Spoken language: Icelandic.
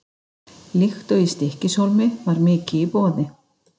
Líkt og í Stykkishólmi var mikið í boði.